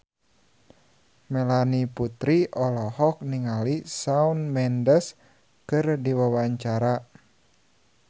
Melanie Putri olohok ningali Shawn Mendes keur diwawancara